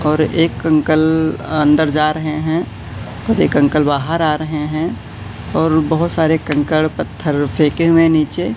और एक अंकल अंदर जा रहें हैं और एक अंकल बाहर आ रहें हैं और बहोत सारे कंकड़ पत्थर फेके हुए हैं नीचे।